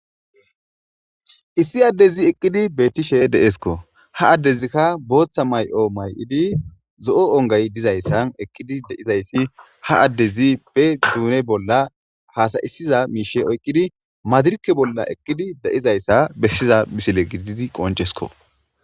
issi addezi eqqidi bettishe deeskko ha addezikka booththa may7o may7idi zo7o ongay dizayssan eqqidi deizayssi ha addezi pe duune bolla haasayisiza miishe oykqidi madirke bolla eqqidi da7izayssa bessiza misile gididi qoncesko